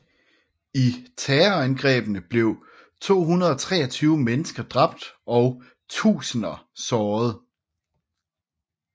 I terrorangrebene blev 223 mennesker dræbt og tusinder såret